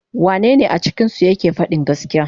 Wanne ne a cikinsu yake fadin gaskiya.